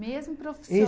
Mesmo